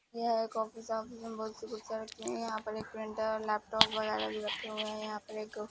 यह एक ऑफिस है ऑफिस में बहुत रखे हैं यहां पे एक प्रिंटर और लैपटॉप वगैरह भी रखे हुए हैं यहां पर एक--